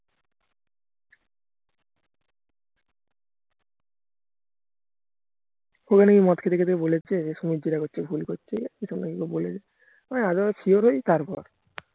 ওকে নাকি মদ খেতে খেতে নাকি বলেছে সুমিত যেটা করছে ভুল করছে এইসব ওকে নাকি বলেছে আমি আগে sure হয় তারপর